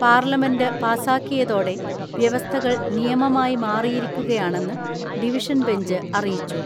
Parliament പാസ്സാക്കിയതോടെ വ്യവസ്ഥകൾ നിയമമായി മാറിയിരിക്കു കയാണെന്ന് ഡിവിഷൻ ബെഞ്ച് അറിയിച്ചു.